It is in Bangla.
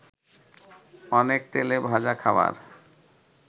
অনেক তেলে ভাজা খাবার